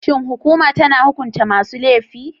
Shin hukuma tana hukunta masu laifi?